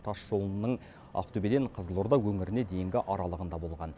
тасжолының ақтөбеден қызылорда өңіріне дейінгі аралығында болған